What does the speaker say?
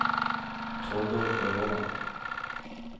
Torger Øverland